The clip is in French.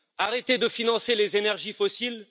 Arrêter de financer les énergies fossiles?